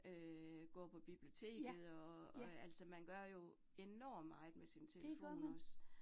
Øh går på biblioteket og, og altså man gør jo enormt meget med sin telefon også